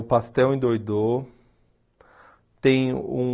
O Pastel endoidou. Tem um